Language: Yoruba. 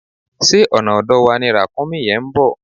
Ṣé ọ̀nà ọ̀dọ̀ wa ni Ràkúnmí yẹn ń bọ̀?